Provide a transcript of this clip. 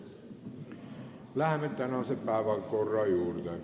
Läheme tänase päevakorra juurde.